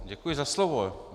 Děkuji za slovo.